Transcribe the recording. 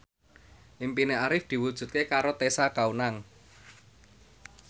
impine Arif diwujudke karo Tessa Kaunang